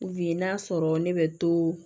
U bi n'a sɔrɔ ne bɛ to